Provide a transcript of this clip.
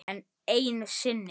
Enn einu sinni.